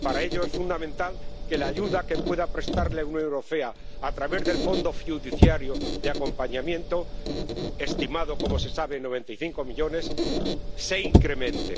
Para ello es fundamental que la ayuda que pueda prestar la Unión Europea a través del Fondo fiduciario de acompañamiento —estimado como se sabe en 95 millones de euros— se incremente.